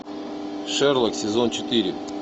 шерлок сезон четыре